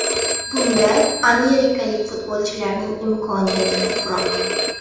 Bunda amerikalik futbolchilarning imkoniyati ko‘proq.